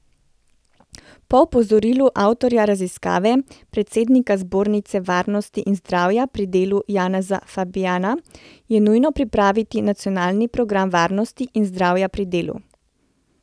Po opozorilu avtorja raziskave, predsednika Zbornice varnosti in zdravja pri delu Janeza Fabijana, je nujno pripraviti nacionalni program varnosti in zdravja pri delu.